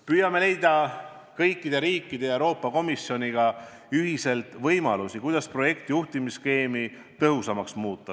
Püüame leida kõikide riikide ja Euroopa Komisjoniga ühiselt võimalusi, kuidas projekti juhtimise skeemi tõhusamaks muuta.